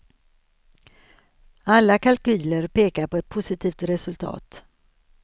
Alla kalkyler pekar på ett positivt resultat.